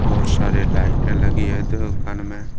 बहोत सारे लाइटे लगी है दुकान में--